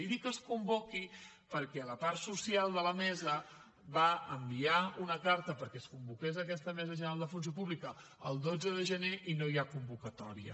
i dic que es convoqui perquè la part social de la mesa va enviar una carta perquè es convoqués aquesta mesa general de la funció pública el dotze de gener i no hi ha convocatòria